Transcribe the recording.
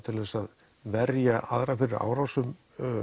til að verja aðra fyrir árásum